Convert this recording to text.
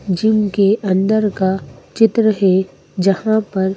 gym के अंदर का चित्र है जहां पर--